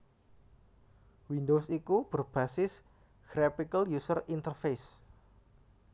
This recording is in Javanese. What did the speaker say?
Windows iku berbasis Graphical User Interface